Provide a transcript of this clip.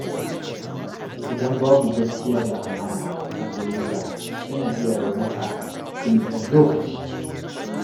Idan babu gaskiya da amana a soyayya, tana iya raunta cikin ɗan lokaci.